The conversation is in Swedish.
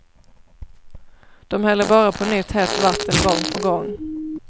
De häller bara på nytt hett vatten gång på gång.